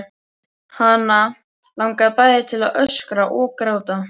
Hana langaði bæði til að öskra og gráta.